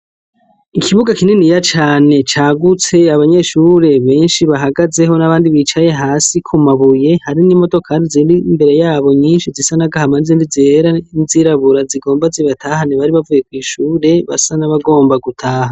Ikibuga kininiya cane cagutse abanyeshure benshi bahagazeho n'abandi bicaye hasi ku mabuye ,hari n'imodoka ziri imbere yabo nyinshi zisa n'agahama n'izindi zera n'izirabura zigomba zibatahane ,bari bavuye kw'ishure basa n'abagomba gutaha.